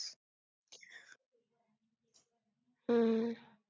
हम्म